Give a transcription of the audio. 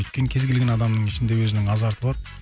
өйткені кез келген адамның ішінде өзінің азарты бар